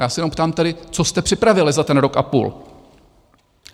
Já se jenom ptám tedy, co jste připravili za ten rok a půl?